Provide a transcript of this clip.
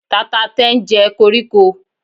tata ten je okoriko